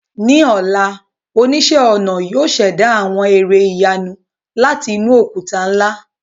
Ní ọ̀la, oníṣẹ́-ọnà yóò ṣẹ̀dá àwọn ère ìyanu láti inú òkúta ńlá.